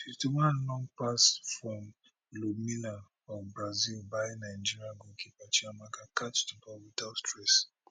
fifty one long pass from ludmila of brazil buy nigeria goalkeeper chiamaka catch di ball without stress